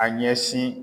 A ɲɛsin